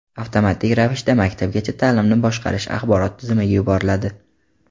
avtomatik ravishda Maktabgacha ta’limni boshqarish axborot tizimiga yuboriladi.